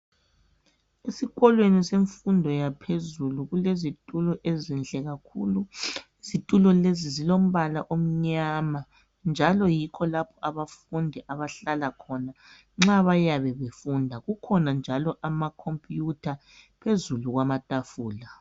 Esikolweni semfundo yaphezulu kulezitulo ezinhle kakhulu. Izitulo lezi zilombala omnyama njalo yikho lapha abafundi abahlala khona nxa beyabe befunda . Kukhona njalo amakhompuyutha phezulu kwamatafula.